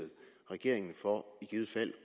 regeringen for i givet fald